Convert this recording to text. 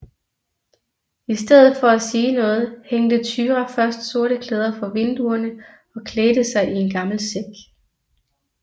I stedet for at sige noget hængte Thyra først sorte klæder for vinduerne og klædte sig i en gammel sæk